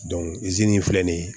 in filɛ nin ye